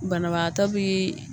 Banabaatɔbiii.